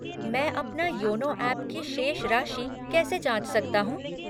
मैं अपने YONO app की शेष राशि कैसे जाँच सकता हूँ?